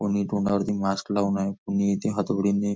कोणी तोंडावरती मास्क लाऊन आहे कोणी इथे हथोडीने--